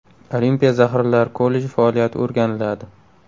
Olimpiya zaxiralari kolleji faoliyati o‘rganiladi.